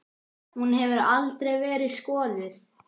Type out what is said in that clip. Hún hefur aldrei verið skoðuð.